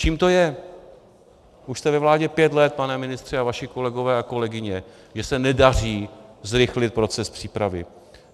Čím to je - už jste ve vládě pět let, pane ministře, a vaši kolegové a kolegyně - že se nedaří zrychlit proces přípravy?